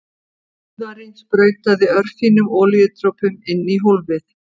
Úðari sprautaði örfínum olíudropum inn í hólfið.